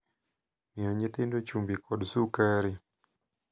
Miyo nyithindo chumbi kod sukari.